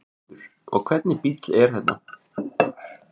Þórhildur: Og hvernig bíll er þetta?